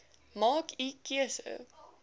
maak u keuse